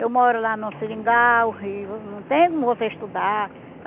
Eu moro lá no seringal, e não tem como você estudar.